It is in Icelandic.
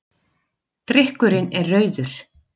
Drykkurinn er rauður.